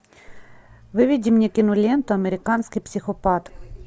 выведи мне киноленту американский психопат